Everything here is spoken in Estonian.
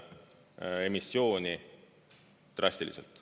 emissiooni drastiliselt.